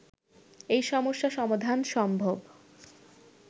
এই সমস্যা সমাধান সম্ভব